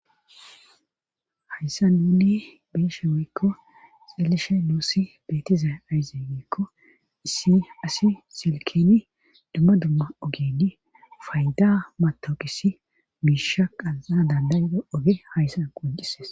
Hayssan nuuni be'shin woykko xeelishin nus beetizay aaze giiko issi asi silkeni dumma dumma ogen payda matawuqessi miisha qanxanna danda'iza oge haysssan qonccisees.